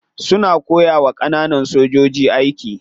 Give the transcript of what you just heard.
Suna koyawa kananan sojoji aiki.